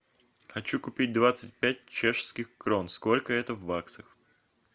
хочу купить двадцать пять чешских крон сколько это в баксах